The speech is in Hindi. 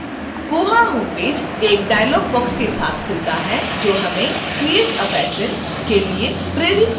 koha homepage एक डायल़ॉग बॉक्स के साथ खुलता है जो हमें create a patron के लिए प्रेरित करता है